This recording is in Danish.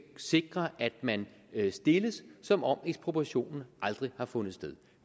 sikre at man stilles som om ekspropriationen aldrig har fundet sted